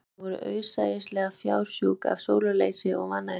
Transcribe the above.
Sum þeirra voru auðsæilega fársjúk af sólarleysi og vannæringu